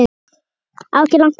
Á ekki langt eftir